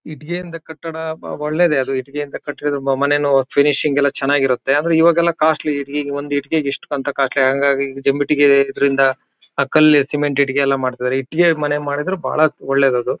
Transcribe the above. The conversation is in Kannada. ಇಟ್ಟಿಗೆಯಿಂದ ಕಟ್ಟಡ ಓ ಒಳ್ಳೆದೇ ಅದು ಇಟ್ಟಿಗೆಯಿಂದ ಕಟ್ಟಿರೋದಿಂದ ಮ ಮನೆನೋ ಫೀನಿಶಿಂಗ್ ಗೆಲ್ಲ ಚೆನ್ನಾಗಿರುತ್ತೆ ಅಂದ್ರೆ ಇವಾಗೆಲ್ಲ ಕಾಸ್ಟ್ಲಿ ಇಟ್ಟಿಗ್ ಒಂದ್ ಇಟ್ಟಿಗೆಗ್ ಇಷ್ಟು ಕಂತ ಕಾಸ್ಟ್ಲಿ ಹಾಂಗಾಗಿ ಈಗ ಜಂಬ ಇಟ್ಟಿಗೆ ಗೆ ಇದರಿಂದ ಆ ಕಲ್ ಸಿಮೆಂಟ್ ಇಟ್ಟಿಗೆಲ್ಲ ಮಾಡ್ತಾಯಿದ್ದರೆ ಇಟ್ಟಿಗೆಗ್ ಮನೆ ಮಾಡಿದ್ರು ಬಹಳ ಒಳ್ಳೇದ್ ಅದು.